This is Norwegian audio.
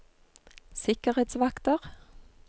sikkerhetsvakter